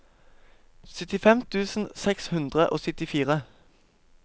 syttifem tusen seks hundre og syttifire